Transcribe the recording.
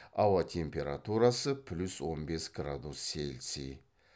ауа температурасы плюс он бес градус цельсий